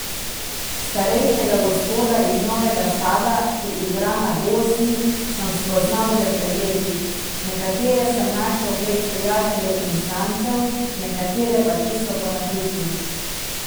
Starejšega gospoda iz Novega Sada, ki igra na gosli, sem spoznal že pred leti, nekatere sem našel prek prijateljev in znancev, nekatere pa čisto po naključju.